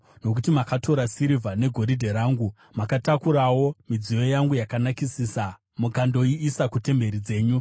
Nokuti makatora sirivha negoridhe rangu, mukatakurawo midziyo yangu yakanakisisa mukandoiisa kutemberi dzenyu.